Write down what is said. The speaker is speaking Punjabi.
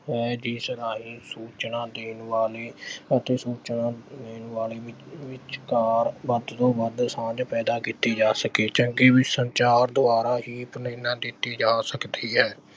ਹੈ ਜਿਸ ਰਾਹੀਂ ਸੂਚਨਾ ਦੇਣ ਵਾਲੇ ਅਤੇ ਸੂਚਨਾ ਲੈਣ ਵਾਲੇ ਅਹ ਵਿਚਕਾਰ ਵੱਧ ਤੋਂ ਵੱਧ ਸਾਂਝ ਪੈਦਾ ਕੀਤੀ ਜਾ ਸਕੇ ਚੰਗੇ ਸੰਚਾਰ ਦੁਆਰਾ ਹੀ ਪ੍ਰੇਰਨਾ ਦਿੱਤੀ ਜਾ ਸਕਦੀ ਹੈ।